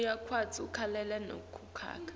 uyakwati kulalela nekucoca